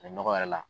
A bɛ nɔgɔ yɛrɛ la